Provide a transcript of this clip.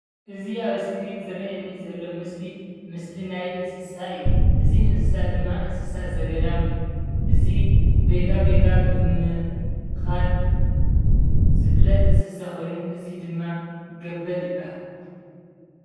እዚ ኣብ እስክሪን ዝርኣየኒ ዘሎ ምስሊ ናይ እንስሳ እዩ፡፡ እዚ እንስሳ ድማ እንስሳ ዘገዳም እዩ፡፡ እዚ ባይታባይታ ብምኻድ ዝፍለጥ እንስሳ ኮይኑ እዚ ድማ ገበል ይብሃል፡፡